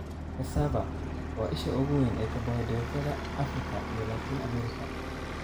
Cassava: Waa isha ugu weyn ee karbohaydraytyada Afrika iyo Latin America.